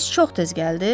Ems çox tez gəldi.